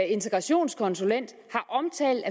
integrationskonsulent har omtalt